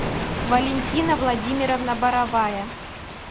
валентина владимировна боровая